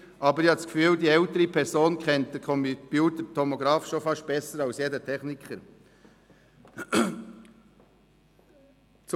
aber ich habe das Gefühl, die ältere Person kenne den Computertomografen beinahe besser als jeder Techniker.